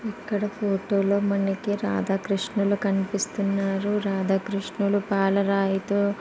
ఇక్కడ ఫోటో లో మనకి రాధాకృష్ణులు కనిపిస్తున్నారు. రాధాకృష్ణులు పాల రాయితో--